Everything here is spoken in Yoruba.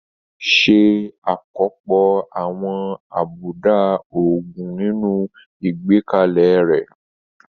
Ṣe àkópọ̀ àwọn àbùdá òògùn nínú ìgbékalẹ̀ rẹ.